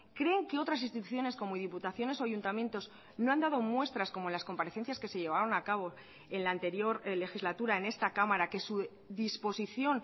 creen que otras instituciones como diputaciones o ayuntamientos no han dado muestras como las comparecencias que se llevaron a cabo en la anterior legislatura en esta cámara que su disposición